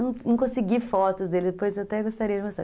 Eu não consegui fotos dele, depois eu até gostaria de mostrar.